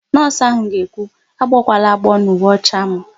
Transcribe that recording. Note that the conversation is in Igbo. Nọọsụ áhụ̀ ga-ekwu, "agbọkwala agbọọ n'uwe ọcha m"!